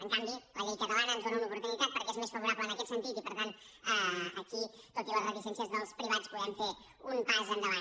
en canvi la llei catalana ens dóna una oportunitat perquè és més favorable en aquest sentit i per tant aquí tot i les reticències dels privats podem fer un pas endavant